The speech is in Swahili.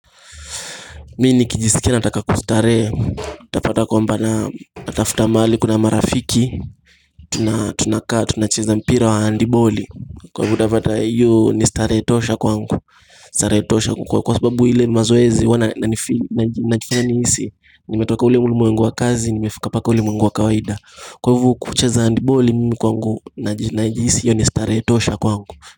Mimi nikijiskia nataka kustarehe utapata kwamba natafuta mahali kuna marafiki na tunakaa, tunacheza mpira wa handiboli Kwa hivo utapata hiyo ni starehe tosha kwangu, starehe tosha kwangu Kwa sababu ile mazoezi, wana na najifanya nihisi, nimetoka ule ulimwengu wa kazi, nimefika mpaka ulimwengu wa kawaida Kwa hivo kucheza handiboli mimi kwangu, najihisi hiyo ni starehe tosha kwangu.